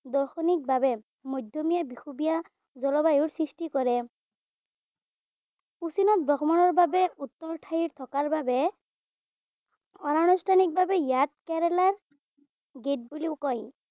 দাৰ্শনিকভাৱে মধ্যমীয়া বিষুৱীয় জলবায়ু সৃষ্টি কৰে। কুছিনত ভ্ৰমণৰ বাবে উত্তৰ ঠাই থকা বাবে অনানুষ্ঠনিকভাৱে ইয়াক কেৰেলাৰ গেইট বুলিও কয়।